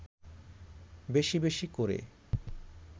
বেশি বেশি করে